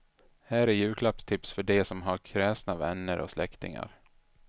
Här är julklappstips för de som har kräsna vänner och släktingar.